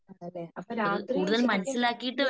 അതേലെ അപ്പോ രാത്രി ശെരിക്കും